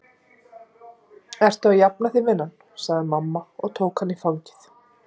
Ertu að jafna þig, vinan? sagði mamma og tók hana í fangið.